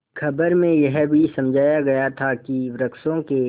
खबर में यह भी समझाया गया था कि वृक्षों के